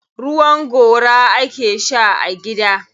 Ruwan gora ake sha a gida.